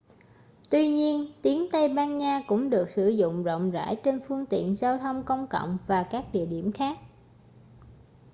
tuy nhiên tiếng tây ban nha cũng được sử dụng rộng rãi trên phương tiện giao thông công cộng và các địa điểm khác